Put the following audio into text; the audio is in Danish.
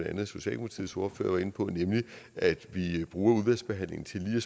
andet socialdemokratiets ordfører var inde på nemlig at vi bruger udvalgsbehandlingen til lige